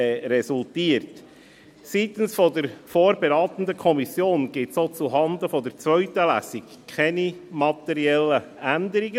Seitens der vorberatenden Kommission gibt es auch zuhanden der zweiten Lesung keine materiellen Änderungen.